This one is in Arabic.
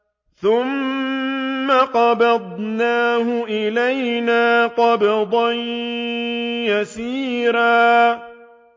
ثُمَّ قَبَضْنَاهُ إِلَيْنَا قَبْضًا يَسِيرًا